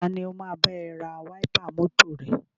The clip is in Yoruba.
Tani o máa bá ẹ ra wáípà mọ́tọ̀ rẹ?